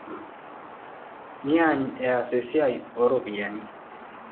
Neaany eas esiai ooropiyiani.